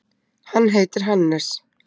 Hann heitir Hannes.